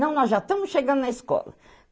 Não, nós já estamos chegando na escola.